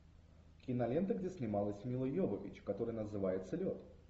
кинолента где снималась мила йовович которая называется лед